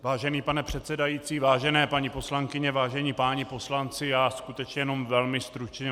Vážený pane předsedající, vážené paní poslankyně, vážení páni poslanci, já skutečně jenom velmi stručně.